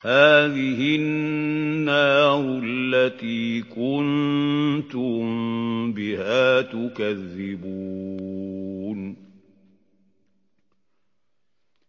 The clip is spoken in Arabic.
هَٰذِهِ النَّارُ الَّتِي كُنتُم بِهَا تُكَذِّبُونَ